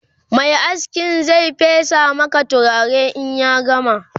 Mai askin Zai fesa Maka turare in ya gama